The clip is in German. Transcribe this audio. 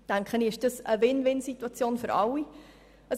Das ist eine Win-win-Situation für alle.